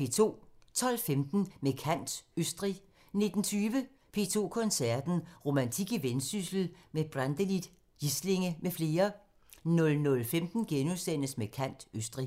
12:15: Med kant – Østrig 19:20: P2 Koncerten – Romantik i Vendsyssel med Brantelid, Gislinge m.fl. 00:15: Med kant – Østrig *